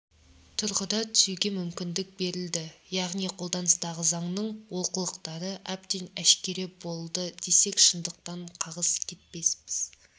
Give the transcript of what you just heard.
тұрғыда түзеуге мүмкіндік берілді яғни қолданыстағы заңның олқылықтары әбден әшкере болды десек шындықтан қағыс кетпеспіз